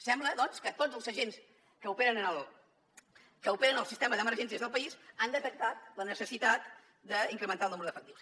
sembla doncs que tots els agents que operen en el sistema d’emergències del país han detectat la necessitat d’incrementar el nombre d’efectius